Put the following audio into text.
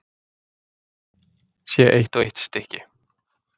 Sé eitt og eitt stykki.